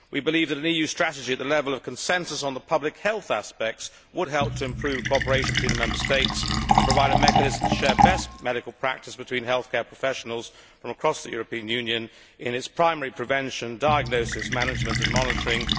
We believe that an EU strategy at the level of consensus on the public health aspects would help to improve cooperation between the Member States and provide a mechanism to share best medical practice between healthcare professionals from across the European Union in primary prevention diagnosis management and monitoring.